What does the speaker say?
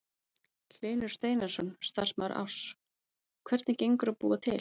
Hlynur Steinarsson, starfsmaður Áss: Hvernig gengur að búa til?